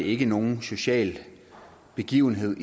ikke nogen social begivenhed